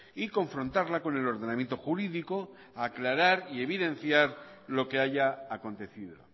y confrontarla con el ordenamiento jurídico aclarar y evidenciar lo que haya acontecido